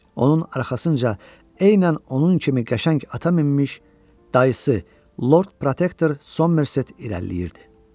Onun arxasınca eynən onun kimi qəşəng ata minmiş dayısı Lord Protektor Somerset irəliləyirdi.